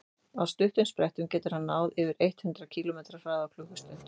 á stuttum sprettum getur hann náð yfir eitt hundruð kílómetri hraða á klukkustund